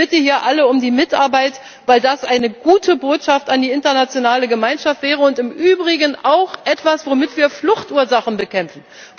Ich bitte hier alle um Mitarbeit, weil das eine gute Botschaft an die internationale Gemeinschaft wäre und im Übrigen auch etwas, womit wir Fluchtursachen bekämpfen.